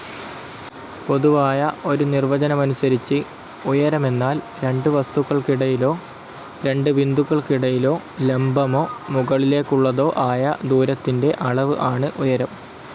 പൊതുവായ ഒരു നിർവചനമനുസരിച്ച് ഉയരമെന്നാൽ രണ്ടു വസ്തുക്കൾക്കിടയിലോ, രണ്ട് ബിന്ദുക്കൾക്കിടയിലോ ലംബമോ, മുകളിലേക്കുള്ളതോ ആയ ദൂരത്തിന്റെ അളവ് ആണ് ഉയരം.